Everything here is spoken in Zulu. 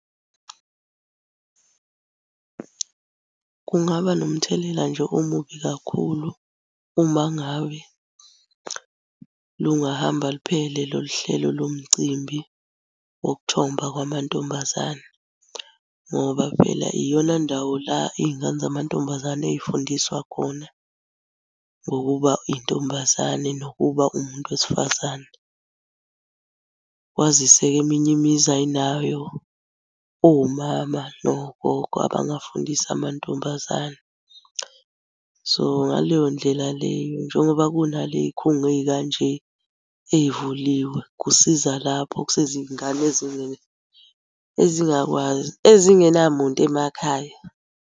Kungaba nomthelela nje omubi kakhulu uma ngawe lungahamba luphele lolu hlelo lo mcimbi wokuthomba kwamantombazane ngoba phela iyona ndawo la iy'ngane zamantombazane ey'fundiswa khona ngokuba intombazane nokuba umuntu wesifazane. Kwazise-ke eminye imizi ayinayo omama nogogo abangafundisa amantombazane. So, ngaleyo ndlela leyo njengoba kunaley'khungo ey'kanje ey'vuliwe, kusiza lapho kusiza iy'ngane ezingakwazi ezingenamuntu emakhaya.